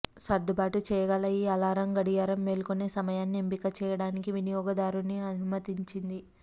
సర్దుబాటు చేయగల ఈ అలారం గడియారం మేల్కొనే సమయాన్ని ఎంపిక చేయడానికి వినియోగదారుని అనుమతించింది